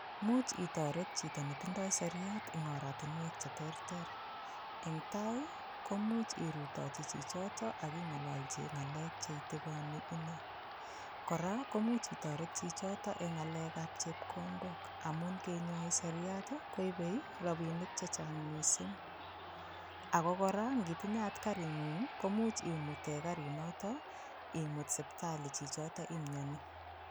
Much itoret chito netindoi seriat, eng oratinwek cheterter. Eng tai, komuch irutochi chichoto aking'ololchi ng'alek cheitikoni ine. Kora, komuch itoret chichoto eng ng'alekap chepkondok amun kenyoi seriat koibe rabinik chechang mising ako kora nkitinye karing'ung ko much imute karinoto, imut siptali chichoto imioni